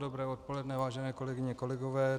Dobré odpoledne, vážené kolegyně, kolegové.